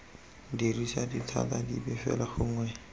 dirisa dithata dipe fela gongwe